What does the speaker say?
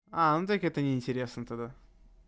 а ну так это неинтересно тогда